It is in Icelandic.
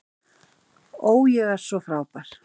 Ó, ég er svo frábær.